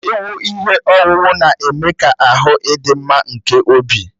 Iwu ihe owuwu na-eme ka ahụ idị mma nke obi